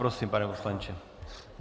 Prosím, pane poslanče.